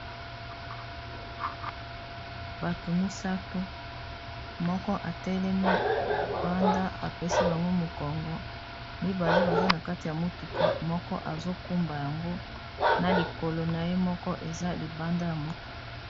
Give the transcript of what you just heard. Bato misatu moko atelemi libanda apesi bango mokongo mibale baza na kati ya motuka moko azokumba yango na likolo na ye moko eza libanda ya motuka